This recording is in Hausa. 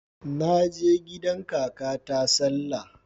Naje gidan kakata sallah